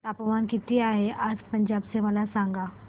तापमान किती आहे आज पंजाब चे मला सांगा